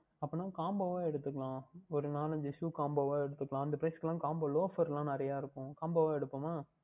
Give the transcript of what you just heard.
அப்படியென்றால் Combo வாக எடுத்துக்கொள்ளலாம் ஓர் நான்கு ஐந்து Shoe Combo வாக எடுத்துக்கொள்ளலாம் அந்த Price க்கு Combo எல்லாம் Loafer எல்லாம் நிறைய இருக்கும் Combo வாக எடுத்துக்கொள்ளலாமா